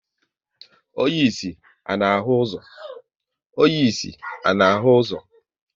Onye ịsị, ọ na ahụ ụzọ?